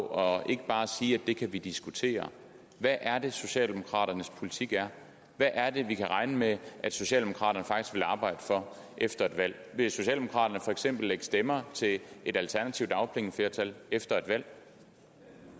og ikke bare sige at det kan vi diskutere hvad er det socialdemokraternes politik er hvad er det vi kan regne med at socialdemokraterne faktisk vil arbejde for efter et valg vil socialdemokraterne for eksempel lægge stemmer til et et alternativt dagpengeflertal efter et valg